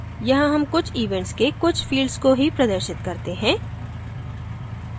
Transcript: यहाँ हम कुछ events के कुछ fields को ही प्रदर्शित करते हैं